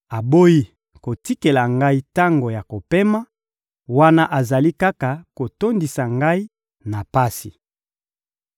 aboyi kotikela ngai tango ya kopema, wana azali kaka kotondisa ngai na pasi.